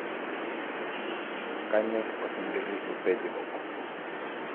kanyorr osinkirri opejo